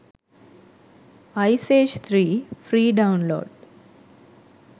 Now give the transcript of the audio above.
ice age 3 free download